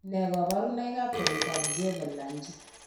Nee kabarunoikab koroitoab Jervell Lange?